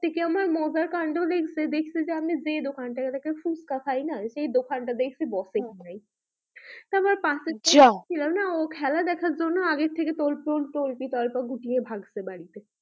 সবথেকে আমার মজার কাণ্ড লেগেছে দেখছি যে আমি দোকানটা থেকে ফুচকা খাই না সেই দোকানটা দেখছি বসে নি তারপর পাশের যাহ ছিলনা ও খেলে দেখার জন্য আগের থেকে তল্পিতল্পা গুটিয়ে ভাগছে বাড়িতে,